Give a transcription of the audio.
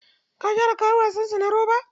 Ka gyara kayan wasan sa na roba?